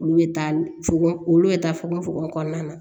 Olu bɛ taa fogon olu bɛ taa fogo fogo kɔnɔna na